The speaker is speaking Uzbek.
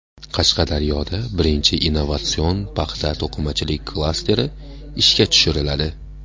Qashqadaryoda birinchi innovatsion paxta-to‘qimachilik klasteri ishga tushiriladi.